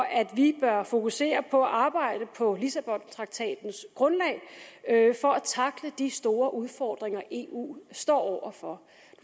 at vi bør fokusere på og arbejde på lissabontraktatens grundlag for at tackle de store udfordringer eu står over for